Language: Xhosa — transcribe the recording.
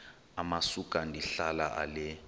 amasuka ndihlala ale